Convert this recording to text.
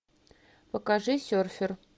покажи серфер